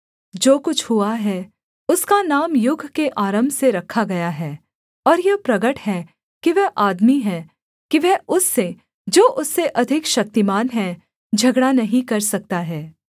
जो कुछ हुआ है उसका नाम युग के आरम्भ से रखा गया है और यह प्रगट है कि वह आदमी है कि वह उससे जो उससे अधिक शक्तिमान है झगड़ा नहीं कर सकता है